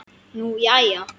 Nú jæja.